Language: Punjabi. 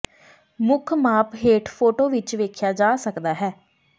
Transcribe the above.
ਮੁੱਖ ਮਾਪ ਹੇਠ ਫੋਟੋ ਵਿੱਚ ਵੇਖਿਆ ਜਾ ਸਕਦਾ ਹੈ